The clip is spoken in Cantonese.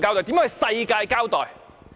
如何向世界交代？